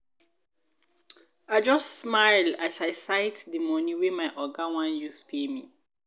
i just smile as i sight dey moni wey my oga wan use pay me.